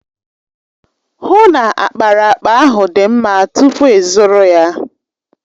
Hụ na ákpáraàkpà ahụ dị mma tupu ịzụrụ ya!